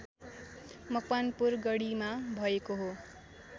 मकवानपुर गढीमा भएको हो